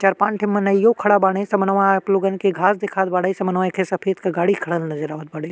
चार पान के मनइयो खड़ा बाड़े। समनवा आप लोगन के घास दिखात बाड़े। समनवा एखे सफेद के गाड़ी खड़ा-ड् नजर आवत बाड़े।